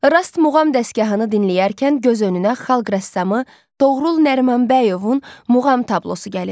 Rast muğam dəstgahını dinləyərkən göz önünə Xalq rəssamı Toğrul Nərimanbəyovun muğam tablosu gəlir.